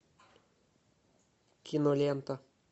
кинолента